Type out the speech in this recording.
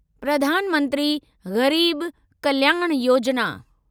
प्रधान मंत्री गरीब कल्याण योजना